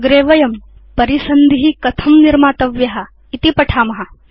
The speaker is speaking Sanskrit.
अग्रे वयं परिसन्धि कथं निर्मातव्य इति पठेम